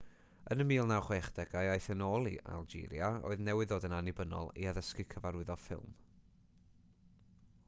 yn y 1960au aeth e yn ôl i algeria oedd newydd ddod yn annibynnol i addysgu cyfarwyddo ffilm